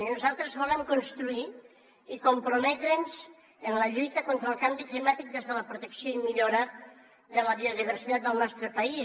i nosaltres volem construir i comprometre’ns en la lluita contra el canvi climàtic des de la protecció i millora de la biodiversitat del nostre país